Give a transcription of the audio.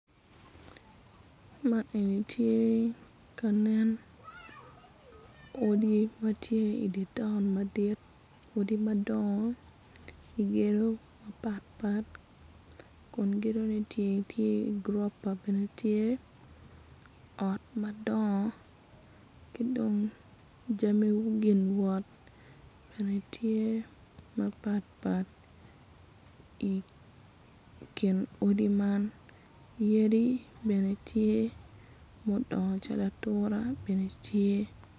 Man eni tye ka nen odi ma tye i dye boma madit odi madongo gedo mapatpat kun gedone bene tye gurofa ot madongo ki dong jami gin wot.